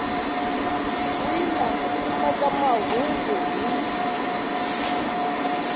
wina ku kuma mahungu hi